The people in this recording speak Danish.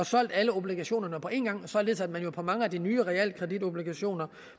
solgt alle obligationerne på en gang således at man for mange af de nye realkreditobligationer